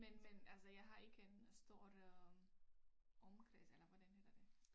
Men men altså jeg har ikke en stor øh omkreds eller hvordan hedder det